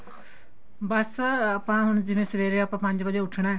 ਬੱਸ ਆਪਾਂ ਹੁਣ ਜਿਵੇਂ ਸਵੇਰੇ ਆਪਾਂ ਪੰਜ ਵਜੇ ਉਠਣਾ